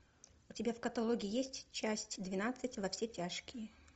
у тебя в каталоге есть часть двенадцать во все тяжкие